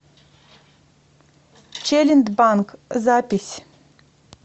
челиндбанк запись